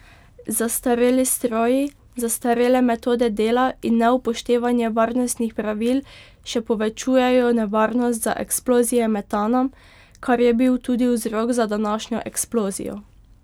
Zastareli stroji, zastarele metode dela in neupoštevanje varnostnih pravil še povečujejo nevarnost za eksplozije metana, kar je bil tudi vzrok za današnjo eksplozijo.